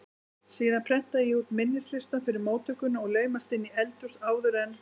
Síðan prenta ég út minnislistann fyrir móttökuna og laumast inn í eldhús áður en